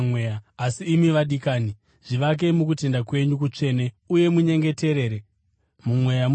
Asi imi, vadikani, zvivakei mukutenda kwenyu kutsvene uye munyengetere muMweya Mutsvene.